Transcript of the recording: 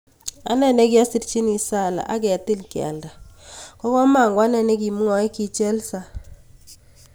Ane nikiyasirchini Salah ak ketil kealda kokomokoane nikwamwae, ki Chelsea.